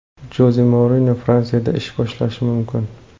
Joze Mourinyo Fransiyada ish boshlashi mumkin.